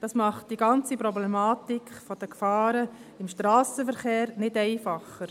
Das macht die ganze Problematik der Gefahren im Strassenverkehr nicht einfacher.